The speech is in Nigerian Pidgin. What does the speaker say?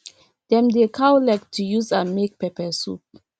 dem dey cow leg to use am make peppersoup